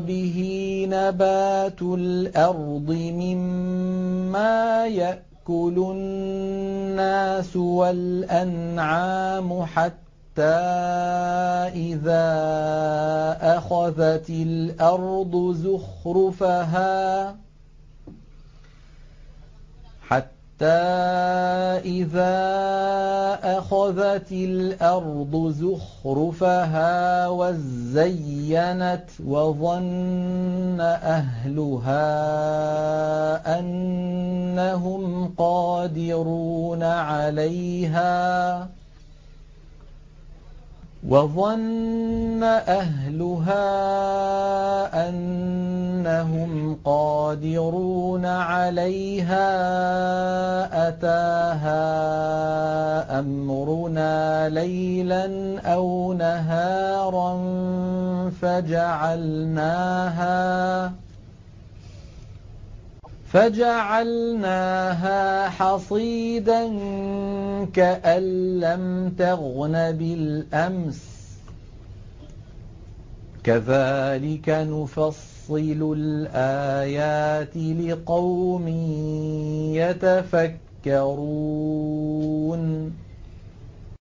بِهِ نَبَاتُ الْأَرْضِ مِمَّا يَأْكُلُ النَّاسُ وَالْأَنْعَامُ حَتَّىٰ إِذَا أَخَذَتِ الْأَرْضُ زُخْرُفَهَا وَازَّيَّنَتْ وَظَنَّ أَهْلُهَا أَنَّهُمْ قَادِرُونَ عَلَيْهَا أَتَاهَا أَمْرُنَا لَيْلًا أَوْ نَهَارًا فَجَعَلْنَاهَا حَصِيدًا كَأَن لَّمْ تَغْنَ بِالْأَمْسِ ۚ كَذَٰلِكَ نُفَصِّلُ الْآيَاتِ لِقَوْمٍ يَتَفَكَّرُونَ